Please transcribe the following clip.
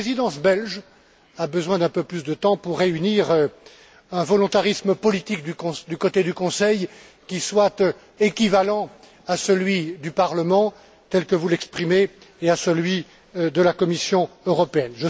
La présidence belge a besoin d'un peu plus de temps pour réunir un volontarisme politique du côté du Conseil, qui soit équivalent à celui du Parlement, tel que vous l'exprimez, et à celui de la Commission européenne.